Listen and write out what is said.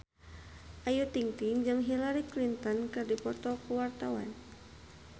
Ayu Ting-ting jeung Hillary Clinton keur dipoto ku wartawan